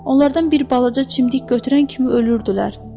Onlardan bir balaca çimdik götürən kimi ölürdülər.